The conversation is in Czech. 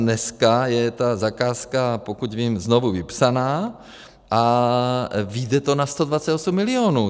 Dneska je ta zakázka, pokud vím, znovu vypsaná a vyjde to na 128 milionů.